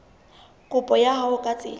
kopo ya hao ka tsela